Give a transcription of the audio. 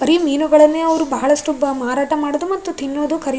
ಬರಿ ಮೀನುಗಳನ್ನೆ ಅವ್ರು ಬಹಳಷ್ಟು ಮಾರಾಟ ಮಾಡೋದು ಮತ್ತು ತಿನ್ನೋದು ಖರೀದು --